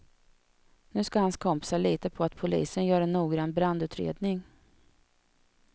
Nu ska hans kompisar lita på att polisen gör en noggrann brandutredning.